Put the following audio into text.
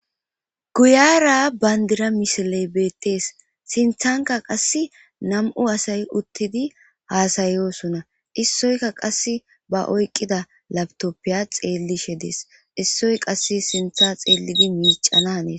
Guyara bayndira misiley beettees sinthanka qass nam'u asay uttidi haasayosunna issoyka qass ba oyqqida labtoppiya xeellishe dees issoy qass sintha xeellidi miicana aees